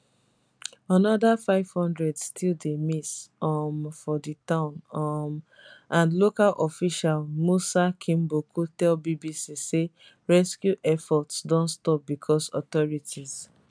anoda five hundred still dey miss um for di town um and local official musa kimboku tell bbc say rescue efforts don stop becos authorities